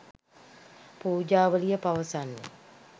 පූජාවලිය පවසන්නේ